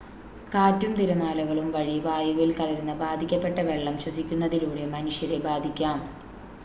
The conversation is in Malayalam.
കാറ്റും തിരമാലകളും വഴി വായുവിൽ കലരുന്ന ബാധിക്കപ്പെട്ട വെള്ളം ശ്വസിക്കുന്നതിലൂടെ മനുഷ്യരെ ബാധിക്കാം